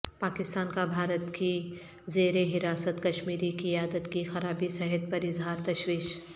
پاکستان کا بھارت کی زیرحراست کشمیری قیادت کی خرابی صحت پر اظہار تشویش